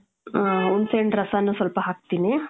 ಹ , ಹುಣಸೆ ಹಣ್ಣು ರಸಾನು ಸ್ವಲ್ಪ ಹಾಕ್ತೀನಿ.